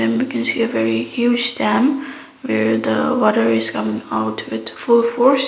and looking see a very huge dam where the water is coming out with full force.